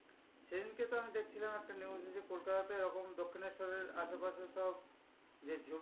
সেদিনকে তো আমি দেখছিলাম একটা news যে কলকাতাতে এরকম দক্ষিণেশ্বর এর আশেপাশে সব যে জমি